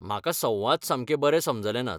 म्हाका संवाद सामके बरे समजले नात.